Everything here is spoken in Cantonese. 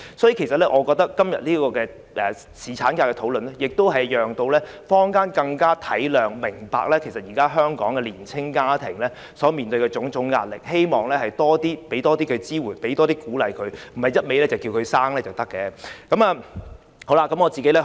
所以，我覺得今天這個侍產假的討論可讓坊間更能體諒及明白，現時香港的年青家庭所面對的種種壓力，希望能給予他們多些支援和鼓勵，而不是不斷呼籲他們生育便可。